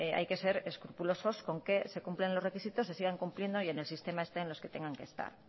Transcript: hay que ser escrupulosos con que se cumplan los requisitos se sigan cumpliendo y en el sistema estén los que tengan que estar